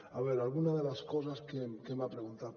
a veure alguna de les coses que m’ha preguntat